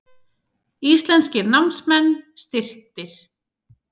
Íslenskir námsmenn styrktir